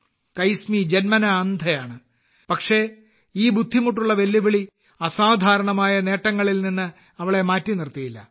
കൈസ്മി ജന്മനാ അന്ധയാണ് പക്ഷേ ഈ ബുദ്ധിമുട്ടുള്ള വെല്ലുവിളി അസാധാരണമായ നേട്ടങ്ങളിൽ നിന്ന് അവളെ മാറ്റി നിർത്തിയില്ല